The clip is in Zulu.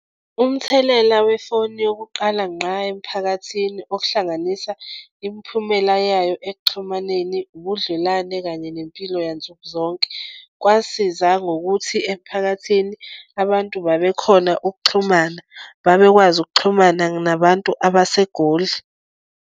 Umthelela wefoni yokuqala ngqa emphakathini okuhlanganisa imphumela yayo ekuxhumaneni ubudlelwane kanye nempilo yansukuzonke. Kwasiza ngokuthi emphakathini abantu babekhona ukuxhumana, babekwazi ukuxhumana nabantu abaseGoli.